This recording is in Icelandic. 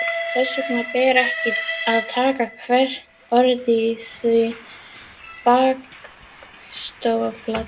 Þess vegna ber ekki að taka hvert orð í því bókstaflega.